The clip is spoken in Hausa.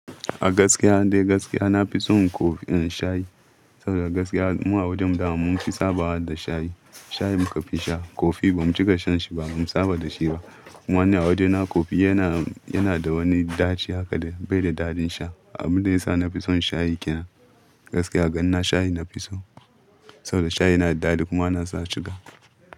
A gaskiya dai gaskiya, na fi son kofi, shayi. Saboda gaskiya mu a wajen mu da man mun fi sabawa da shayi. Shayi muka fi sha, kofi ba mu cika shan shi ba, ba mu saba da shi ba. Kuma ni a wajena kofi yana, yana da wani ɗaci haka dai bai da daɗin sha. Abin da ya sa na fi son shayi kenan. Gaskiya a gani na shayi na fi so. Saboda shayi yana da daɗi kuma ana sa siga.